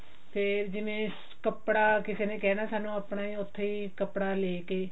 ਤੇ ਜਿਵੇਂ ਕੱਪੜਾ ਕੀ ਨੇ ਕਹਿਣਾ ਸਾਨੂੰ ਆਪਣੇ ਉੱਥੇ ਹੀ ਕੱਪੜਾ ਲੇਕੇ